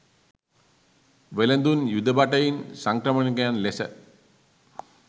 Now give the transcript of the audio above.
වෙළෙඳුන්, යුද භටයින්, සංක්‍රමණිකයන් ලෙස